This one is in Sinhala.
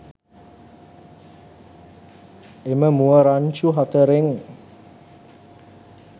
එම මුව රංචු හතරෙන්